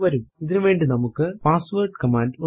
ഇതിനുവേണ്ടി നമുക്ക് password command ഉണ്ട്